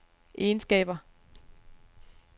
egenskaber